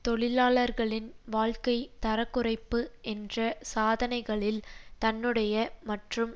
தொழிலாளர்களின் வாழ்க்கை தரக்குறைப்பு என்ற சாதனைகளில் தன்னுடைய மற்றும்